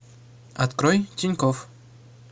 открой тинькофф